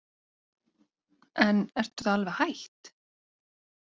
En ertu þá alveg hætt?